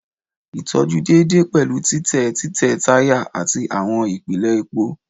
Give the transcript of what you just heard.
Itọju deede pẹlu titẹ titẹ taya ati awọn ipele epo